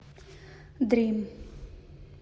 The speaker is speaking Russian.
дрим